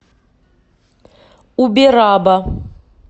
убераба